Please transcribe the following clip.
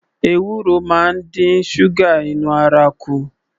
Ewuro máa ń dín ṣúgà inú ara kù